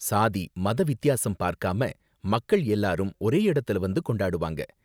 சாதி, மத வித்தியாசம் பாக்காம மக்கள் எல்லாரும் ஒரே இடத்துல வந்து கொண்டாடுவாங்க.